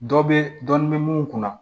Dɔ bɛ dɔn m'u kunna